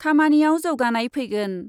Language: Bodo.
खामानियाव जौगानाय फैगोन ।